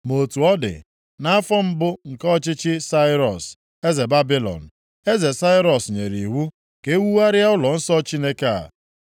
“Ma otu ọ dị, nʼafọ mbụ nke ọchịchị Sairọs, eze Babilọn, eze Sairọs nyere iwu ka e wugharịa ụlọnsọ Chineke a.